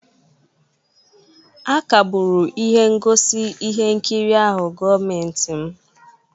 a kagburu ihe ngosi ihe nkiri ahụ gọọmentị m